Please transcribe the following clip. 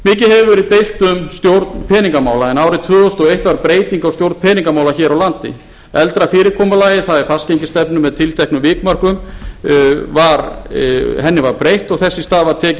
hefur verið deilt um stjórn peningamála en árið tvö þúsund og eitt var breyting á stjórn peningamála hér á landi eldra fyrirkomulagi það er fastgengisstefnu með tilteknum vikmörkum var breytt og þess í stað var tekið